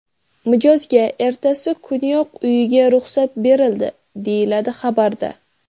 Mijozga ertasi kuniyoq uyiga ruxsat berildi, deyiladi xabarda.